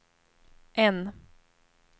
N